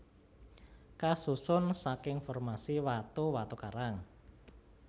Kasusun saking formasi watu watu karang